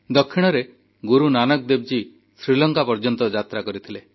ଦକ୍ଷିଣରେ ଗୁରୁ ନାନକ ଦେବଜୀ ଶ୍ରୀଲଙ୍କା ପର୍ଯ୍ୟନ୍ତ ଯାତ୍ରା କରିଥିଲେ